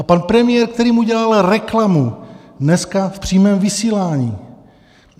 A pan premiér, který mu dělal reklamu dneska v přímém vysílání.